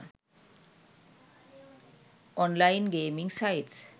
online gaming sites